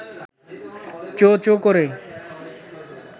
চোঁ-চোঁ করে